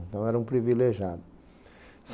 Então era um privilegiado.